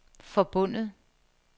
forbundet